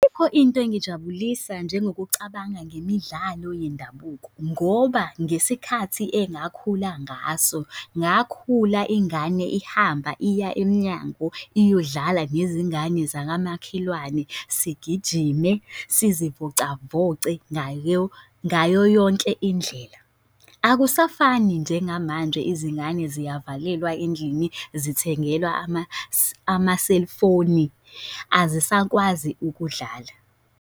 Ayikho into engijabulisa njengokucabanga ngemidlalo yendabuko ngoba ngesikhathi engakhula ngaso ngakhula ingane ihamba iya emnyango iyodlala nezingane zakamakhelwane, sigijime sizivocavoce ngayo, ngayo yonke indlela. Akusafani njengamanje izingane ziyavalelwa endlini zithengelwa ama-cellphone, azisakwazi ukudlala.